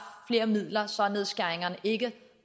flere midler så nedskæringerne ikke